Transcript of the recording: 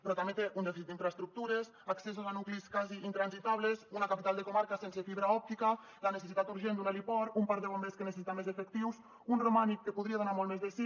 però també té un dèficit d’infraestructures accessos a nuclis quasi intransitables una capital de comarca sense fibra òptica la necessitat urgent d’un heliport un parc de bombers que necessita més efectius un romànic que podria donar molt més de si